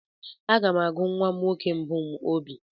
Aga m agụ nwa nwoke mbụ m Obi.